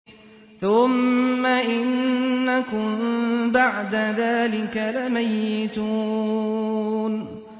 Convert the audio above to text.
ثُمَّ إِنَّكُم بَعْدَ ذَٰلِكَ لَمَيِّتُونَ